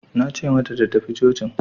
Nace mata ta tafi cocin